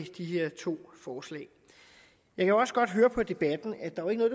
de her to forslag jeg kan også godt høre på debatten at der jo ikke er